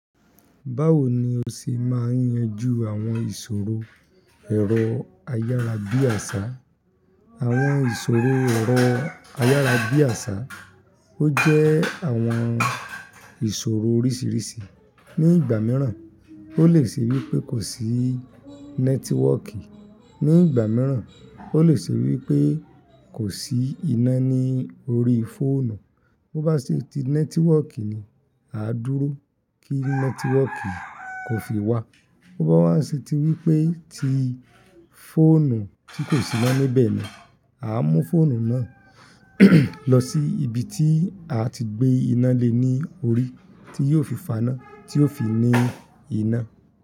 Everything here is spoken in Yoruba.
Báwo ni o ṣe máa ń yanjú àwọn ìṣòro ẹ̀rọ ayárabíàṣá? Àwọn ìṣòro ẹ̀rọ ayárabíàṣá, ó jẹ́ àwọn ìṣòro oríṣìíríṣìí. Ni ìgbà mìíràn, ó lè ṣe wí pé kò sí nẹ́tíwọ́kì. Ni ìgbà mìíràn, ó lè ṣe wí pé kò sí iná ní orí fóònù. Bo bá ṣe ti nẹ́tíwọ́kì ni, a á dúró kí nẹ́tíwọ́kì kò fi wá. Bo bá wa ṣe ti wí pé ti fóònù tí kò sí iná níbẹ̀ ni, a á mú fóònù náà lọ sí ibi tí a ti gbé iná lé ní orí tí yóò fi fàá iná, tí yóò fi ní iná.